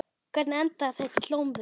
Hvernig endaði þetta í glompu?